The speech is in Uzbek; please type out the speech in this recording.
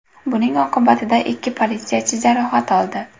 Buning oqibatida ikki politsiyachi jarohat oldi.